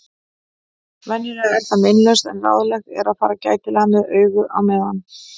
Venjulega er það meinlaust en ráðlegt er að fara gætilega með augu á meðan.